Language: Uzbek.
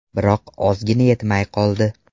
Biroq ozgina yetmay qoldi.